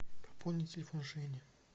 пополнить телефон жени